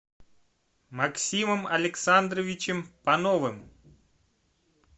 максимом александровичем пановым